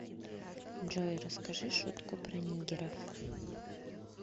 джой расскажи шутку про нигеров